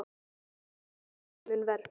Pétur: Þá hefði farið mun verr?